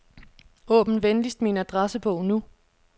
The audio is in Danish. Åbn venligst min adressebog nu.